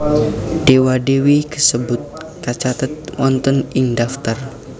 Dewa Dewi kasebut kacathet wonten ing daftar